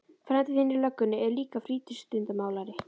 Frændi þinn í löggunni er líka frístundamálari.